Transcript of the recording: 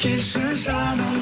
келші жаным